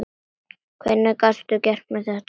Hvernig gastu gert mér þetta?